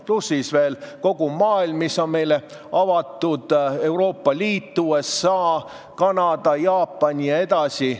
Pluss siis kogu see maailm, mis on meile avatud: Euroopa Liit, USA, Kanada, Jaapan jne.